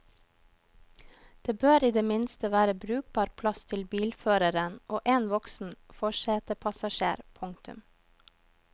Det bør i det minste være brukbar plass til bilføreren og én voksen forsetepassasjer. punktum